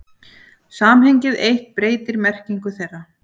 Samhengið eitt breytir merkingu þeirra.